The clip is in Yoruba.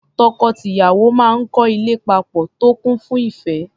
Tọkọ-tìyàwó máa ń kọ́ ilé papọ̀ tó kún fún ìẹ́.